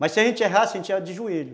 Mas se a gente errasse, a gente ia de joelho.